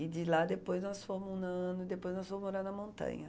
E de lá depois nós fomos no no... depois nós fomos morar na montanha.